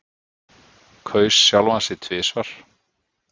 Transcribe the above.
Kaus sjálfan sig tvisvar